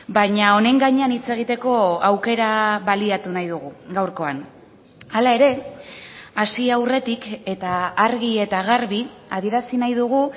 baina honen gainean hitz egiteko aukera baliatu nahi dugu gaurkoan hala ere hasi aurretik eta argi eta garbi adierazi nahi dugu